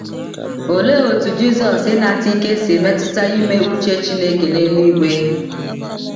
Olee otú Jizọs ịnata ike si metụta ime uche Chineke n’eluigwe?